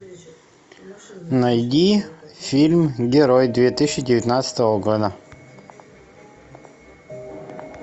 найди фильм герой две тысячи девятнадцатого года